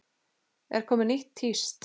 Er komið nýtt tíst?